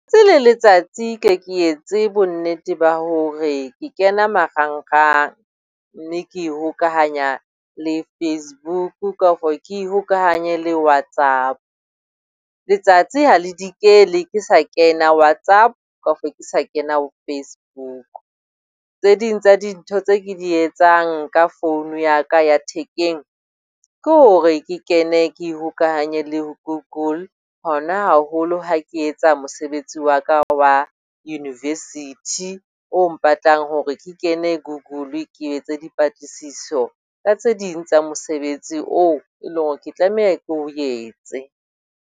Le letsatsi ke ye ke etse bonnete ba hore ke kena marangrang, mme ke hokahanya le Facebook kafo ke ihokahanye le Whatsapp. Letsatsi ha le dikele ke sa kena Whatsapp kafo ke sa kena o Facebook. Tse ding tsa dintho tse ke di etsang ka phone ya ka ya thekeng ke hore ke kene ke ihokahanye le Google. Hona haholo ha ke etsa mosebetsi wa ka wa University o mpatlang hore ke kene Google ke etse dipatlisiso ka tse ding tsa mosebetsi oo e leng hore ke tlameha ke o etse.